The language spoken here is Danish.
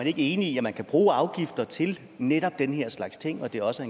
ikke enig i at man kan bruge afgifter til netop den her slags ting og at det også